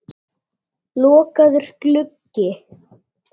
Lokaður gluggi.